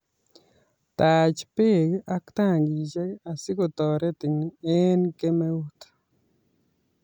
Taach beek ak tankishek asi kotoretin eng kemeut